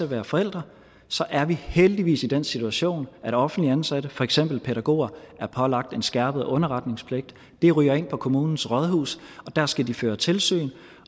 være forældre er vi heldigvis i den situation at offentligt ansatte for eksempel pædagoger er pålagt en skærpet underretningspligt det ryger ind på kommunens rådhus og dér skal de føre tilsyn